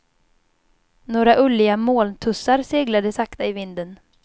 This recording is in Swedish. Några ulliga molntussar seglade sakta i vinden.